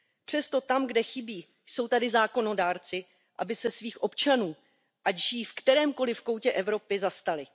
Přesto, tam, kde chybí, jsou tady zákonodárci, aby se svých občanů, ať žijí v kterémkoliv koutě Evropy, zastali.